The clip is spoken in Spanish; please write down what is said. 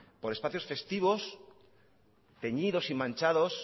por espacios festivos teñidos y manchados